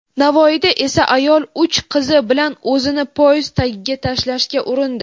Navoiyda esa ayol uch qizi bilan o‘zini poyezd tagiga tashlashga urindi.